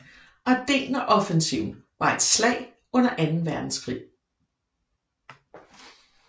Ardenneroffensiven var et slag under anden verdenskrig